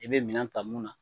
I bɛ minɛn ta mun na